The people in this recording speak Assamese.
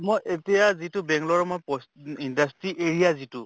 মই এতিয়া যিটো বেংলৰৰ মই ই industry area যিটো